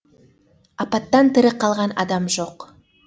апаттан тірі қалған адам жоқ